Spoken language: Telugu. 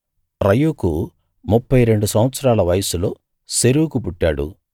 రయూకు ముప్ఫై రెండు సంవత్సరాల వయస్సులో సెరూగు పుట్టాడు